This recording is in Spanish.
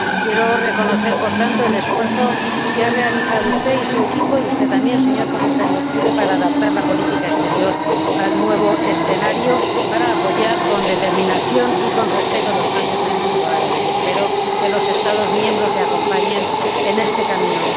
Quiero reconocer, por tanto, el esfuerzo que han realizado usted y su equipo, y usted también, señor Comisario Füle, para adaptar la política exterior al nuevo escenario, para apoyar con determinación y con respeto los cambios en el mundo árabe y espero que los Estados miembros le acompañen en este camino.